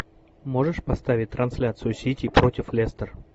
можешь поставить трансляцию сити против лестер